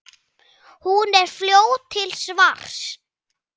Hún er fljót til svars.